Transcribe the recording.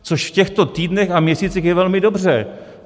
Což v těchto týdnech a měsících je velmi dobře.